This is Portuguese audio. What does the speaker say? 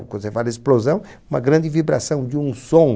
Quando você fala em explosão, uma grande vibração, de um som.